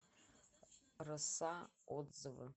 роса отзывы